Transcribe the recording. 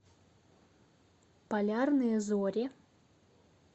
полярные зори